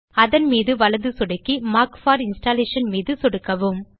அதன்மீது வலது சொடுக்கி மார்க் போர் இன்ஸ்டாலேஷன் மீது சொடுக்கவும்